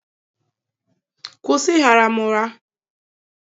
Kwụsị ịgha ra m ụgha.!